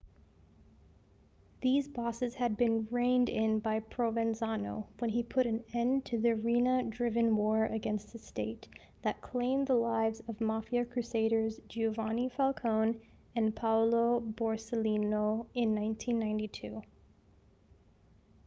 these bosses had been reined in by provenzano when he put an end to the riina-driven war against the state that claimed the lives of mafia crusaders giovanni falcone and paolo borsellino in 1992